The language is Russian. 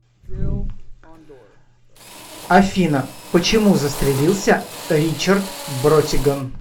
афина почему застрелился ричард бротиган